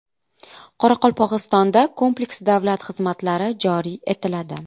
Qoraqalpog‘istonda kompleks davlat xizmatlari joriy etiladi.